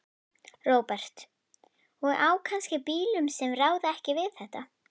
Róbert: Og á kannski bílum sem ráða ekki við þetta?